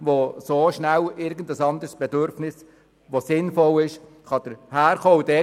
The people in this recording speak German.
In diesem Feld können sehr schnell andere sinnvolle Bedürfnisse entstehen.